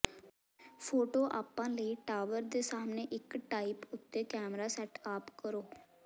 photo ਆਪਾਂ ਲਈ tower ਦੇ ਸਾਹਮਣੇ ਇੱਕ ਟ੍ਰਾਈਪ ਉੱਤੇ ਇੱਕ ਕੈਮਰਾ ਸੈਟ ਅਪ ਕਰੋ